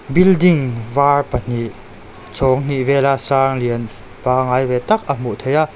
building var pahnih chhawng hnih vel a sang lian panggai ve tak a hmuh theih a.